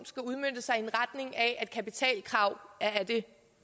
skal udmønte sig i at kapitalkrav er af det